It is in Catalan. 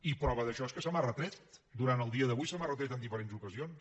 i prova d’això és que se m’ha retret durant el dia d’avui se m’ha retret en diferents ocasions